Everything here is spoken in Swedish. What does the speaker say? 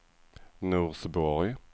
Norsborg